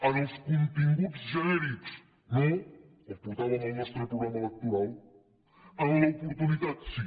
en els continguts genèrics no els portàvem al nostre programa electoral en l’oportunitat sí